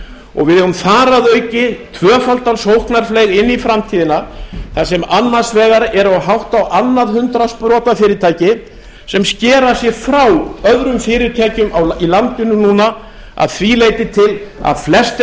og við eigum þar að auki tvöfaldan sóknarfleyg inn í framtíðina þar sem annars vegar eru hátt á annað hundrað sprotafyrirtæki sem skera sig frá öðrum fyrirtækjum í landinu núna að því leyti til að flest þeirra